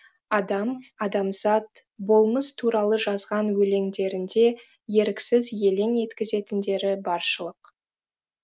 адам адамзат болмыс туралы жазған өлеңдерінде еріксіз елең еткізетіндері баршылық